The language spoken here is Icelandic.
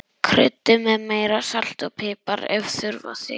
Kryddið með meira salti og pipar ef þurfa þykir.